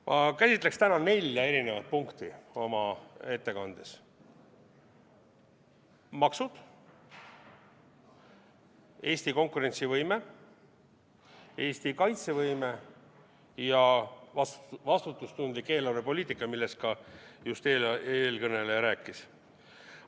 Ma käsitleksin täna oma ettekandes nelja erinevat punkti: maksud, Eesti konkurentsivõime, Eesti kaitsevõime ja vastutustundlik eelarvepoliitika, millest ka eelkõneleja just rääkis.